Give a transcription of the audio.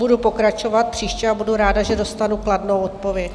Budu pokračovat příště a budu ráda, že dostanu kladnou odpověď.